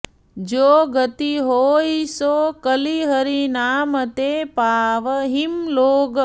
जो गति होइ सो कलि हरि नाम ते पावहिं लोग